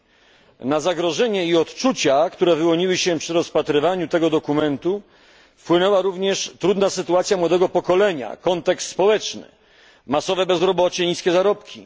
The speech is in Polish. Na poczucie zagrożenia i odczucia, które wyłoniły się przy rozpatrywaniu tego dokumentu, wpłynęła również trudna sytuacja młodego pokolenia, kontekst społeczny, masowe bezrobocie i niskie zarobki.